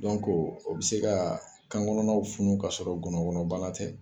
o bɛ se ka kan kɔnɔnaw funu ka sɔrɔ ngɔnɔnkɔnɔbana tɛ